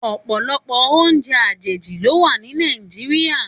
Òpòlòpò óoùnjè àjéjí ló wà ni Nàijiriá